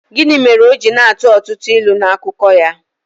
Gịnị mere o ji na-atụ ọtụtụ ilu n’akụkọ ya?